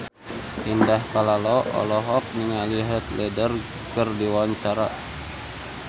Indah Kalalo olohok ningali Heath Ledger keur diwawancara